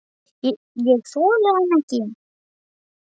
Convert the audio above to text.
Ég þoldi hann ekki.